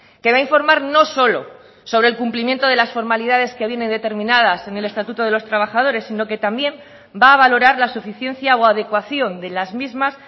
que va a informar no solo sobre el cumplimiento de las formalidades que vienen determinadas en el estatuto de los trabajadores sino que también va a valorar la suficiencia o adecuación de las mismas